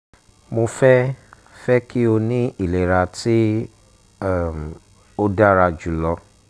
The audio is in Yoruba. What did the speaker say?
mo fẹ fẹ ki o ni ilera ti um o dara julọ